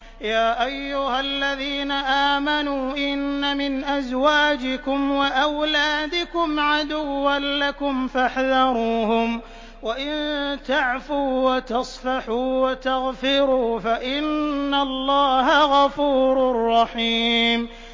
يَا أَيُّهَا الَّذِينَ آمَنُوا إِنَّ مِنْ أَزْوَاجِكُمْ وَأَوْلَادِكُمْ عَدُوًّا لَّكُمْ فَاحْذَرُوهُمْ ۚ وَإِن تَعْفُوا وَتَصْفَحُوا وَتَغْفِرُوا فَإِنَّ اللَّهَ غَفُورٌ رَّحِيمٌ